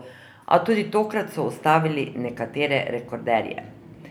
A tudi tokrat so ustavili nekatere rekorderje.